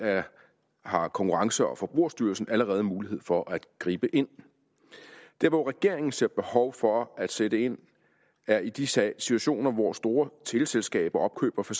har konkurrence og forbrugerstyrelsen allerede mulighed for at gribe ind der hvor regeringen ser behov for at sætte ind er i de situationer hvor store teleselskaber opkøber for